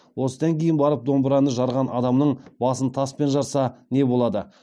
осыдан кейін барып домбыраны жарған адамның басын таспен жарса не болады